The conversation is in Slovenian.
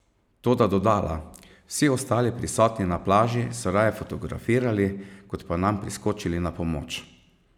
Toda dodala: "Vsi ostali prisotni na plaži so raje fotografirali, kot pa nam priskočili na pomoč".